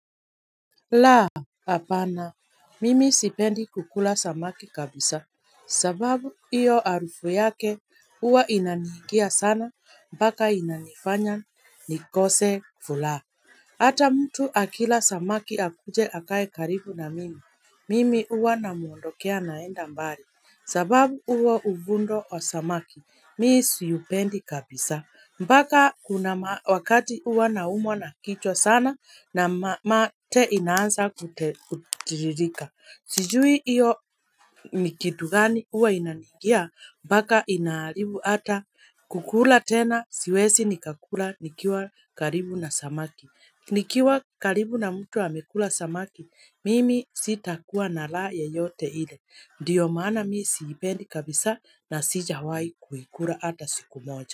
La hapana mimi sipendi kukula samaki kabisa sababu hiyo harufu yake huwa inanihingia sana mpaka inanifanya nikose furaha Hata mtu akila samaki akuje akae karibu na mimi. Mimi huwa namuondokea naenda mbali. Sababu huo uvundo wa samaki, mii siupendi kabisa. Mpaka kuna wakati huwa na umwa na kichwa sana na mate inaanza kutiririka. Sijui hiyo nikitugani huwa inaniigia mpaka inaharibu hata kukula tena siwezi nikakula nikiwa karibu na samaki. Nikiwa karibu na mtu amekula samaki, mimi sitakuwa na raha yeyote ile, ndiyo maana mimi siipendi kabisa na sijawaihi kuikula ata siku moja.